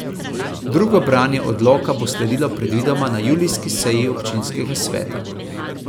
Drugo branje odloka bo sledilo predvidoma na julijski seji občinskega sveta.